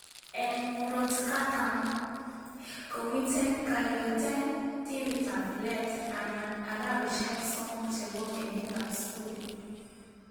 Eng murot katam komiten kayweeteng timitab let anan araweshek somok chebo kenyitab skuli